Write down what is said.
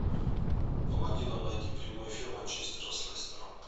помоги нам найти прямой эфир манчестера с лестером